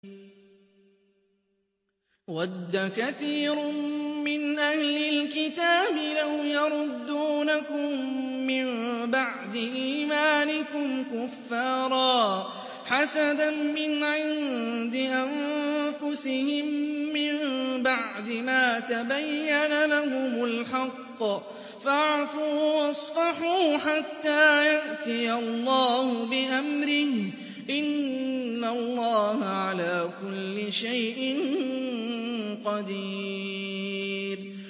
وَدَّ كَثِيرٌ مِّنْ أَهْلِ الْكِتَابِ لَوْ يَرُدُّونَكُم مِّن بَعْدِ إِيمَانِكُمْ كُفَّارًا حَسَدًا مِّنْ عِندِ أَنفُسِهِم مِّن بَعْدِ مَا تَبَيَّنَ لَهُمُ الْحَقُّ ۖ فَاعْفُوا وَاصْفَحُوا حَتَّىٰ يَأْتِيَ اللَّهُ بِأَمْرِهِ ۗ إِنَّ اللَّهَ عَلَىٰ كُلِّ شَيْءٍ قَدِيرٌ